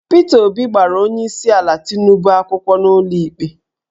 Peter Obi gbara onyeisiala Tinubu akwụkwọ n'ụlọikpe